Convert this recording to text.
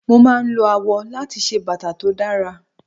Mo máa ń lo awọ láti ṣe bàtà tó dára.